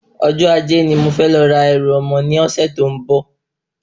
Ọjọ́ Ajé ni mo fẹ́ lọ ra ẹrù ọmọ ní ọ̀sẹ̀ tó ń bò